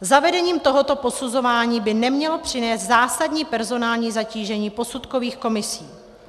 Zavedení tohoto posuzování by nemělo přinést zásadní personální zatížení posudkových komisí.